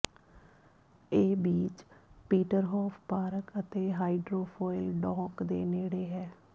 ਇਹ beach Peterhof park ਅਤੇ hydrofoil dock ਦੇ ਨੇੜੇ ਹੈ